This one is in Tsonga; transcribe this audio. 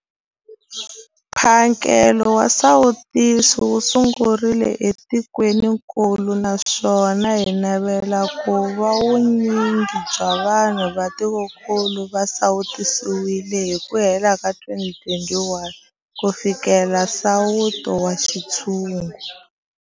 Mphakelo wa xisawutisi wu sungurile etikwenikulu naswona hi navela ku va vu nyingi bya vanhu va tikokulu va sawutisiwile hi ku hela ka 2021 ku fikelela nsawuto wa xintshungu.